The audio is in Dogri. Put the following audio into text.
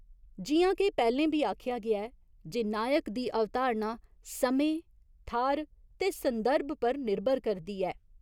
जि'यां के पैह्‌लें बी आखेआ गेआ ऐ जे नायक दी अवधारणा समें, थाह्‌र ते संदर्भ पर निर्भर करदी ऐ।